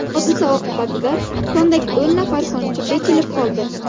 Hodisa oqibatida kondagi o‘n nafar konchi bekilib qoldi.